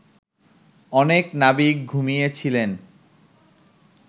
অনেক নাবিক ঘুমিয়ে ছিলেন